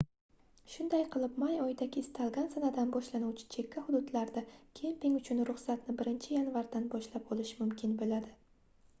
shunday qilib may oyidagi istalgan sanadan boshlanuvchi chekka hududlarda kemping uchun ruxsatni 1 yanvardan boshlab olish mumkin boʻladi